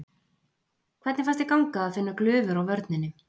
Hvernig fannst þér ganga að finna glufur á vörninni?